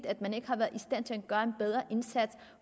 at man ikke har været stand til at gøre en bedre indsats